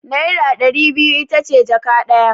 Naira ɗari biyu ita ce jaka ɗaya.